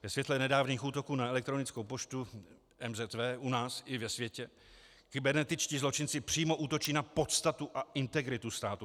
Ve světle nedávných útoků na elektronickou poštu MZV u nás i ve světě kybernetičtí zločinci přímo útočí na podstatu a integritu státu.